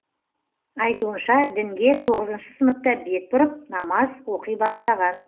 айтуынша дінге тоғызыншы сыныпта бет бұрып намаз оқи бастаған